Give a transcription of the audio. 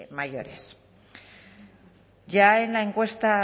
mayores ya en la encuesta